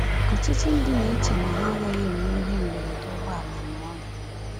Ọtụtụ ndị na-eche na ha agaghị enwe ihe mberede ụgbọala ma ọlị.